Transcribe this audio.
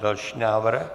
Další návrh.